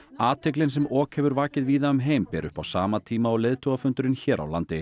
athyglin sem ok hefur vakið víða um heim ber upp á sama tíma og leiðtogafundurinn hér á landi